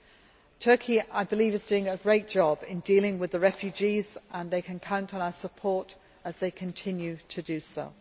I believe that Turkey is doing a great job in dealing with the refugees, and they can count on our support as they continue to do so.